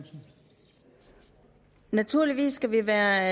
jeg tror vi skal være